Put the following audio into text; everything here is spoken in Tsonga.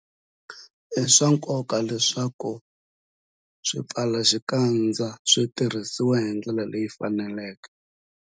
I swa nkoka leswaku swipfalaxikandza swi tirhisiwa hi ndlela leyi faneleke.